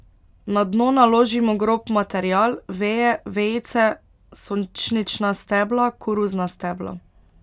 Na dno naložimo grob material, veje, vejice, sončnična stebla, koruzna stebla.